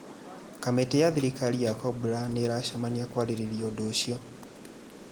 Kamĩtĩ ya thirikari ya Cobra nĩ ĩracemania kwarĩrĩria ũndũ ũcio